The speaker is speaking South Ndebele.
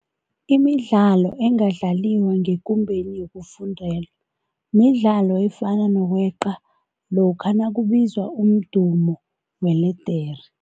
Imidlalo engadlaliwa ngekumbeni yokufundela midlalo efana nokweqa lokha nakubizwa umdumo weledere.